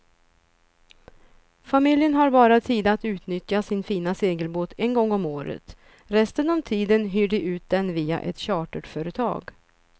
Familjen har bara tid att utnyttja sin fina segelbåt en gång om året, resten av tiden hyr de ut den via ett charterföretag.